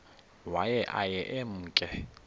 waye aye emke